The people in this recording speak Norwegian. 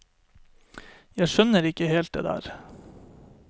Jeg skjønner ikke helt det der.